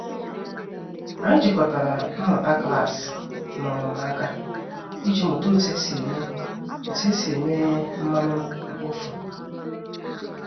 Anyị jikọtara mmụta klasị na ọmụmụ aka iji mụta otu esi eme otu esi eme mmanụ mkpofu.